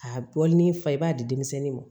A bɔlini fa i b'a di denmisɛnnin ma